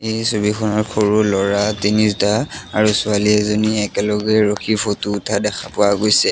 এই ছবিখনত সৰু ল'ৰা তিনিটা আৰু ছোৱালী এজনী একেলগে ৰখি ফটো উঠা দেখা পোৱা গৈছে।